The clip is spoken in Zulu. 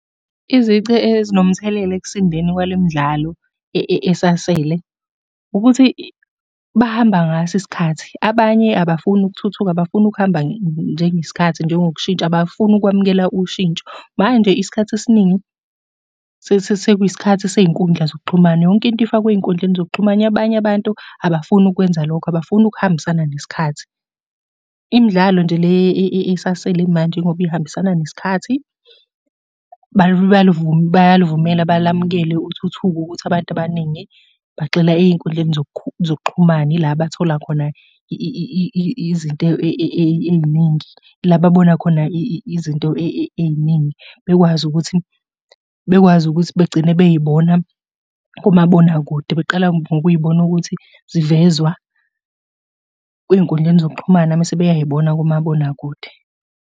Izici ezinomthelela ekusindeni kwale midlalo esasele ukuthi bahamba ngaso isikhathi. Abanye abafuni ukuthuthuka, abafuni ukuhamba njengesikhathi njengokushintsha, abafuni ukwamukela ushintsho. Manje isikhathi esiningi sekuyisikhathi sey'nkundla zokuxhumana, yonke into ifakwa ey'nkundleni zokuxhumana. Abanye abantu abafuni ukukwenza lokho, abafuni ukuhambisana nesikhathi. Imidlalo nje le esasele manje ingoba ihambisana nesikhathi. Bayaluvumela balamukele uthuthuva ukuthi abantu abaningi bagxila ey'nkundleni zokuxhumana, ila abathola khona izinto ey'ningi. La ababona khona izinto ey'ningi. Bekwazi ukuthi, bekwazi ukuthi begcine bey'bona kumabonakude, beqala ngokuy'bona ukuthi zivezwa kwiy'nkundleni zokuxhumana mese beyay'bona kumabonakude.